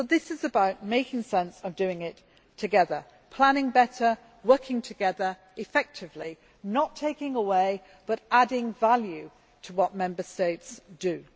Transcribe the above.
So this is about making sense of doing it together planning better, working together effectively, not taking away but adding value to what Member States do.